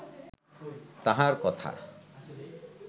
তাঁহার কথা